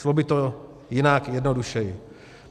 Šlo by to jinak, jednodušeji.